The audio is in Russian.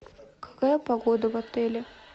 какая погода в отеле